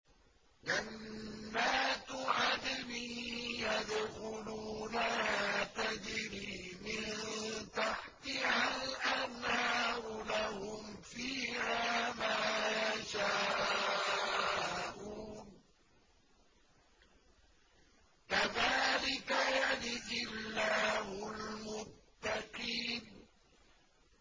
جَنَّاتُ عَدْنٍ يَدْخُلُونَهَا تَجْرِي مِن تَحْتِهَا الْأَنْهَارُ ۖ لَهُمْ فِيهَا مَا يَشَاءُونَ ۚ كَذَٰلِكَ يَجْزِي اللَّهُ الْمُتَّقِينَ